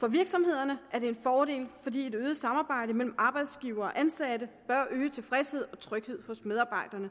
for virksomhederne er det en fordel fordi et øget samarbejde mellem arbejdsgivere og ansatte bør øge tilfredsheden og trygheden hos medarbejderne